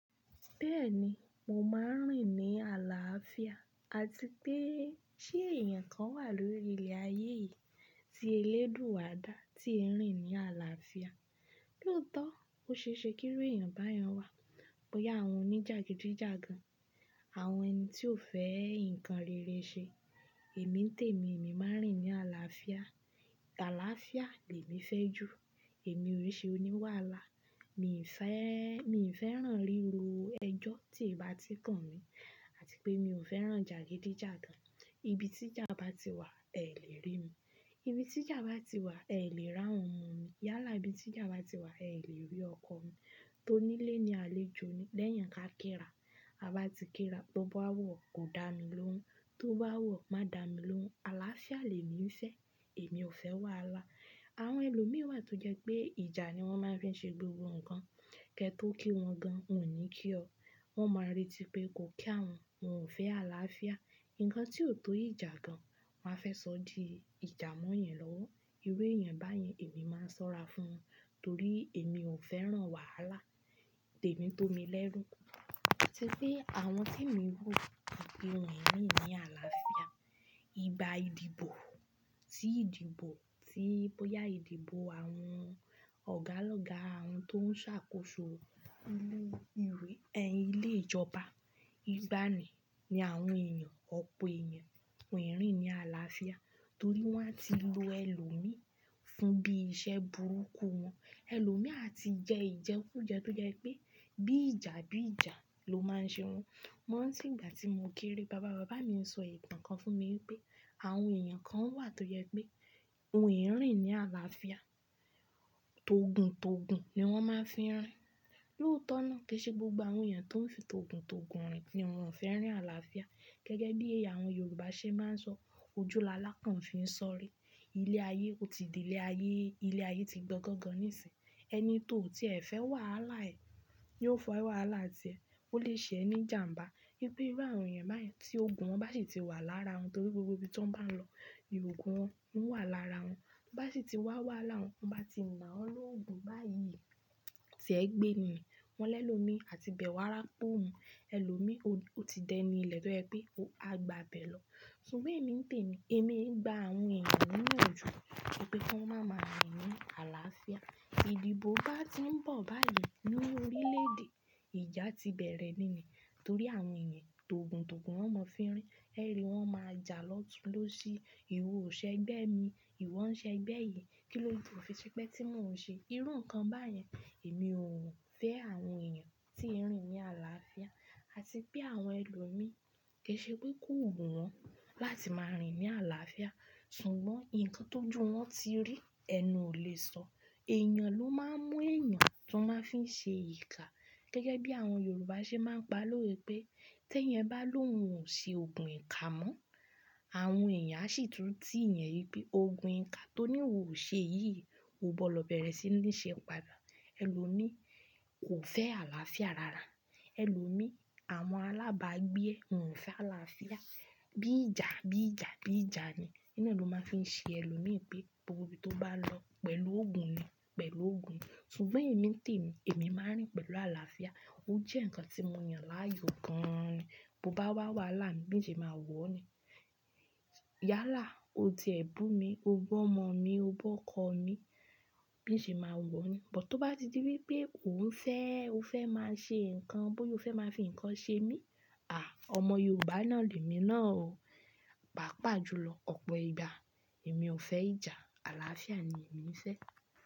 Bẹ́ẹ̀ni, mò máa ń rìn ní àlàáfíà àti pé ṣé èèyàn kan wà lórí ilẹ̀ ayé yìí tí eléèdúú àdá tí ń rìn ní àlàáfíà? Lóòótọ́, ó ṣe é ṣe kí irú èèyàn bá yen wá. Bóyá àwọn oníjàgídíjàgan, àwọn ẹni tí ó fẹ́ nǹkan rere ṣe. Èmi tèmí, èmi máa ń rìn ní àlàáfíà. Àlàáfíà lẹ mí fẹ́ ju. Èmi ò í ṣe oní wàhálà. Mi fẹ́-- mi ò fẹ́ràn ríro ẹjọ́ tí ì bá ti kàn mí àti pé mi ò fẹ́ràn jàgídíjàgan. Ibi tí ìjà bá ti wà, ẹ lè rí mi. Ibi tí ìjà bá ti wà, ẹ lè ràwọn omọ̀ mí. Yálà ibi tí ìjà bá ti wà, ẹ lè rí ọkọ mi tó nílé ní aléjo ni. Lẹ́yìn ká kí ra. A bá ti kí ra, tó bá wọ̀ kò da mi lóhùn, tó bá wọ̀ má da mi lóhùn. Àlàáfíà lẹ mí fe. Èmi ò fẹ́ wàhálà. Àwọn ẹlòmíí wà tó jẹ́ pé ìjà ni wọ́n máa ń fi ṣe gbogbo nǹkan. Kẹ́ tò kí wọ́n gan, wòn o ní kí ọ. Wọn máa retí pé ko kí à wọ́n, wọn ò fẹ́ àlàáfíà. Ǹkan tí ó to ìjà gan, wọ́n á fẹ́ sọ di ìjà mọ́ yan lọ́wọ́. Irú èèyàn báyẹn èmi máa ń sọ́ra fún wọn torí èmi ò fẹ́ràn wàhálà. Tèmi tó mi lẹ́rú. Atípe àwọn tí emi ro pe wọ́n o kin rin ni ní àlàáfíà. Igba ìdìbò sí ìdìbò, tí bóyá ìdìbò àwọn ọ̀gá ọlọ́gá àwọn tó ń ṣàkóso lu irú ẹni ilé ìjọba. Igba nì ni àwọn èèyàn, ọ̀pọ̀ èèyàn wan o kin rìn ní àlàáfíà torí wọ́n á ti lo ẹlòmíí fún bí iṣẹ́ burúkú wọn. Ẹlòmíí a ti jẹ́ ìjẹ́kú jẹ́ tó jẹ́ pé bí ìjà bí ìjà ló máa ń ṣe wọn. Mọ́ ranti ìgbà tí mo kéré, bàbá bàbá mi ń sọ ìtàn kan fún mi wípé àwọn èèyàn kan wà tó jẹ pé wọn ò rìn ní àlàáfíà. Tòguntògun ni wọ́n máa ń fi ń rìn. Lóòótọ́ náà kì í ṣe gbogbo àwọn èèyàn tó ń fi tòguntògun rìn kí wọn ò fẹ́ rìn àlàáfíà. Gẹ́gẹ́ bí àwọn Yorùbá ṣe máa ń sọ, ojú làálàkàn fi ń sọ́rí. Ilẹ̀ ayé ó ti di ilẹ̀ ayé, ilẹ̀ ayé ti gbọ́ gbọ́ gan gan níìsín. Ẹni tó tie fẹ́ wàhálà ẹ̀ yóò fun ẹ wàhálà tì ẹ. Ó lè ṣe ẹ ní ìjànbá. Wipe irú àwọn èèyàn báyẹn tí ogun wọn bá sì ti wà lára wọn torí gbogbo ibi tí wọ́n bá lọ, ni ogun wọn ń wà lára wọn. Bá sì ti wá wàhalq won, ti wọ́n bá ti nà ọ́ lórú ogun báyìí, tì ẹ gbé ni, wọn lẹ́lòó mi àti bẹ wá ràpa ọ́o mu, ẹlòmíí ó ti dẹni ilẹ́ tọ́ jẹ pé ó á gba bẹ̀ lọ. Sùgbọ́n èmi tèmí, èmi i gba àwọn èèyàn niyanju wípé ki wọn má máa rìn ní àlàáfíà. Ìdìbò bá ti ń bọ̀ báyìí nínú orílè-èdè, ìjà ti bẹ̀rẹ̀ níní torí àwọn èèyàn tòguntògun wọn mọ̀ fi ń rìn. Ẹ́ẹ́rì wọ́n máa ja lọ́tunlọ́sí. Ìwọ ò ṣe ẹgbẹ́ mi, ìwọ ń ṣe ẹgbẹ́ yìí. Kí ló de to fi ṣe egbé tí mò ń ṣe irú nǹkan báyẹn? Èmi ò fẹ́ àwọn èèyàn tí ń rìn ní àlàáfíà àti pé àwọn ẹlòmíí kì í ṣe pé kò wù wọ́n láti máa rìn ní àlàáfíà. Sùgbọ́n nǹkan tó ju wọn ti rí ẹnu ò lè sọ. Èèyàn ló máa ń mú èèyàn tí wọ́n máa fi ṣe ìkà. Gẹ́gẹ́ bí àwọn Yorùbá ṣe máa ń pa lórí pé, tí ẹyan bá lóhun ò ṣe ògùn ìkà mọ́. Àwọn èèyàn á sì túntì yan wípé ogun ìkà tó ní ò ṣe yìí, o gbọ́dọ̀ bẹ̀rẹ̀ sí ní ṣe padà. Ẹlòmíí kò fẹ́ àlàáfíà rárá. Ẹlòmíí, àwọn alábàágbé ò fẹ́ àlàáfíà. Bí ìjà, bí ìjà, bí ìjà ni. Iná ló máa ń fi ṣe ẹlòmíí pé torí tó bá lọ pẹ̀lú ogun ni, pẹ̀lú ogun ni. Sùgbọ́n èmi tèmí, èmi máa ń rìn pẹ̀lú àlàáfíà. Ó jẹ́ nǹkan tí mo yàn láàyò gan ni. Tó bá wá wàhálà mi, bí n ṣe máa wọ̀ ni. Yálà o ti ẹ̀ bu mi, o bu ọ́mọ mi, o bu ọkọ mi, bí n ṣe máa wọ̀ o ni. But tó bá ti di wípé ò ń fẹ́, o fẹ́ máa ṣe nǹkan, bóyá o fẹ́ máa fi nǹkan ṣe mí, àh, ọmọ Yorùbá náà lẹ́mi náà o. Pàápàá julọ ọ̀pọ̀ ìgbà èmi ò fẹ́ ìjà, àlàáfíà ni èmi ń fe.